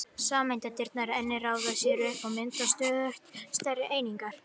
Sameindirnar geta einnig raðað sér upp og mynda stöðugt stærri einingar.